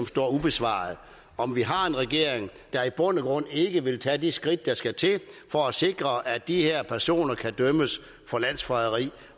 står ubesvaret om vi har en regering der i bund og grund ikke vil tage de skridt der skal til for at sikre at de her personer kan dømmes for landsforræderi